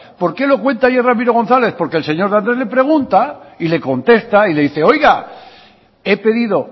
por qué lo cuenta ayer ramiro gonzález porque el señor de andrés le pregunta y le contesta y le dice oiga he pedido